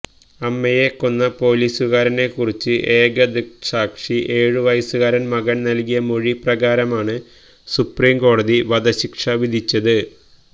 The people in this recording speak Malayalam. അമ്മയെ കൊന്ന പോലീസുകാരനെക്കുറിച്ച് ഏകദൃക്സാക്ഷി ഏഴുവയസുകാരന് മകന് നല്കിയ മൊഴി പ്രകാരമാണ് സുപ്രീംകോടതി വധശിക്ഷ വിധിച്ചത്